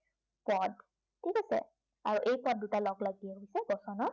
ঠিক আছে, আৰু এই পদ দুটা শব্দই লগলাগিয়ে হৈছে বচনৰ